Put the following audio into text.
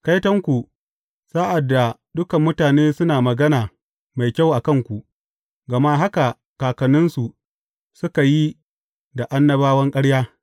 Kaitonku sa’ad da dukan mutane suna magana mai kyau a kanku, gama haka kakanninsu suka yi da annabawan ƙarya.